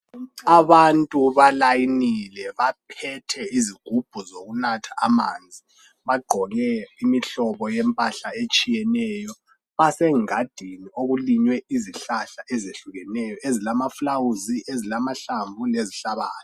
abantu balayinile baphethe izigubhu zokunatha amanzi bagqoke imihlobo yempahla etshiyeneyo basengadini okulinywe izihlahla ezehlukeneyo ezilaflawuzi ezilahlamvu ezihlabayo